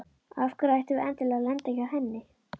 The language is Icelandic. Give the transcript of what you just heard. Og af hverju ættum við endilega að lenda hjá henni?